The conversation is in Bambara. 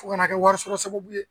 Fo kana kɛ wari sɔrɔ sababu ye